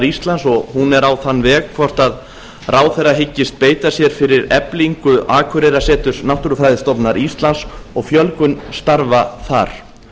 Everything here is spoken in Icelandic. íslands og hún er á þann veg hvort ráðherra hyggist beita sér fyrir eflingu akureyrarseturs náttúrufræðistofnunar íslands og fjölgun starfa þar